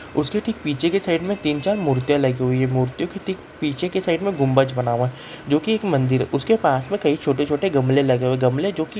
उसके ठीक पीछे के साइड में तीन-चार मूर्तियाँ लगी हुई हैं| मूर्तियों के ठीक पीछे के साइड में गुम्बज बना हुआ है जो की एक मंदिर है उसके पास में कई छोटे-छोटे गमले लगे हुए हैं गमले जोकी --